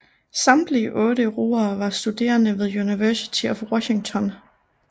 Samtlige otte roere var studerende ved University of Washington